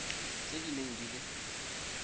tse di neng di le